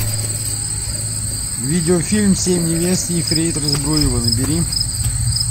видеофильм семь невест ефрейтора збруева набери